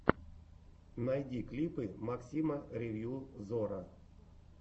найди клипы максима ревью зора